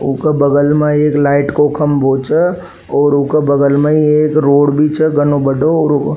उ के बगल में एक लाइट को खम्बो छे और उ के बगल में ही एक रोड भी छे घणो बड़ो और --